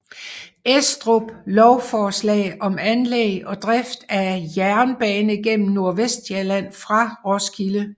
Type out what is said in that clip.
Estrup lovforslag om anlæg og drift af en jernbane gennem Nordvestsjælland fra Roskilde